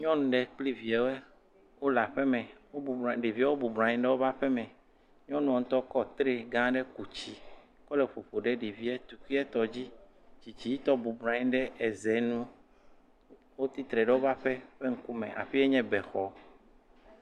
Nyɔnu aɖe kple eviawo le aƒeme. Ɖeviawo bɔbɔ nɔ anyi ɖe woƒe aƒeme. Nyɔnu ŋutɔ kɔ tre gã aɖe ku tsi kɔ le ƒoƒom ɖe ɖevia tukuitɔ dzi. Tsitsitɔ bɔbɔ nɔ anyi ɖe ze nu. Wotsi tre ɖe woƒe aƒe ƒe ŋkume. Aƒea nye bexɔ.